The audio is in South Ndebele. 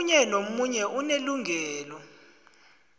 omunye nomunye unelungelo